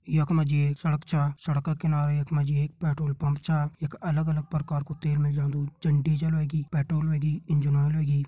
यख मजी एक सड़क छा सड़क किनारे यख माजी एक पेट्रोल पंप छा यख अलग अलग प्रकार कु तेल मिल जांदू जन डीजल ह्वेगी पेट्रोल ह्वेगी इंजन ओइल ह्वेगी।